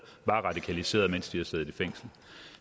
var radikaliseret mens de havde siddet i fængsel